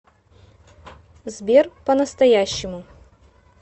сбер по настоящему